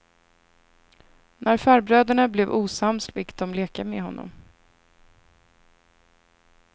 När farbröderna blev osams fick de leka med honom.